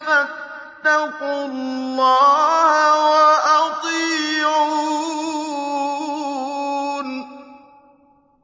فَاتَّقُوا اللَّهَ وَأَطِيعُونِ